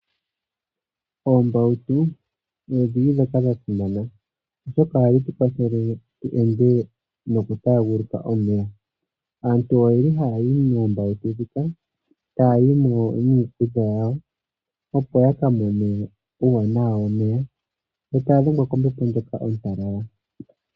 Oombautu odho dhi li ndhoka dha simana, oshoka ohadhi tu kwathele tu ende nokutaaguluka omeya. Aantu oye li haya yi moombautu muka taya yi mo niikulya yawo, opo ya ka mone uuwanawa womeya yo taya dhengwa kombepo ndjoka ontalala.